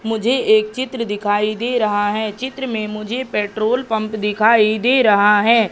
मुझे एक चित्र दिखाईं दे रहा है चित्र में मुझे पेट्रोल पंप दिखाई दे रहा है।